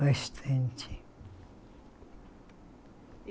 Bastante.